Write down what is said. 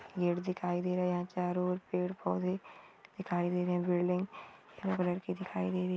पेड़ दिखाय दे रहे है चारो और पेड़ पोधे दिखाय दे रहे है बिल्डिंग पीले कलर की दिखाय दे रही है।